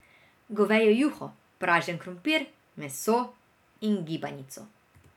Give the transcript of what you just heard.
Govejo juho, pražen krompir, meso in gibanico.